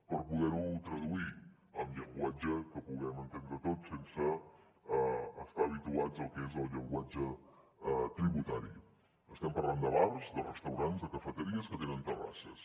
per poder ho traduir en llenguatge que puguem entendre tots sense estar habituats al que és el llenguatge tributari estem parlant de bars de restaurants de cafeteries que tenen terrasses